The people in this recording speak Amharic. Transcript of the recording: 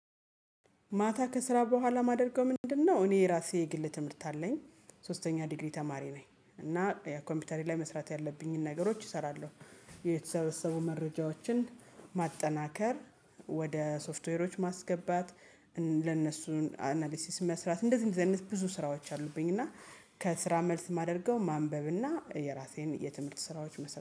ማታ ከስራ በኋላ ማደርገው ምንድነው? እኔ የራሴ የግል ትምህርት አለኝ ሶስተኛ ዲግሪ ተማሪ ነኝ እና ኮምፒውተሪ ላይ መስራት ያለብኝን ነገሮች እሰራለሁ። የተሰበሰቡ መረጃዎችን ማጠናከር ወደ ሶፍትዌሮች ማስገባት ለነሱን አናሊሲስ መስራት እንደዚህ እንደዚህ አይነት ብዙ ስራዎች አሉብኝ። እና ከስራ መልስ የማደርገው ማንበብ እና የራሴን የትምህርት ስራዎች መስራት